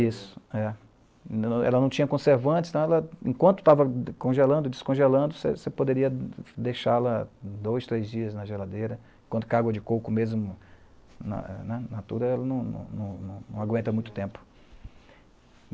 isso, é. Ela não tinha conservantes, então ela, enquanto estava congelando, descongelando, você você poderia deixá-la dois, três dias na geladeira, enquanto que a água de coco mesmo, na eh natura, ela não não não não aguenta muito tempo.